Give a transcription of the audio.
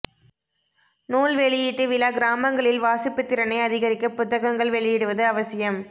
நூல் வெளியீட்டு விழா கிராமங்களில் வாசிப்பு திறனை அதிகரிக்க புத்தகங்கள் வெளியிடுவது அவசியம்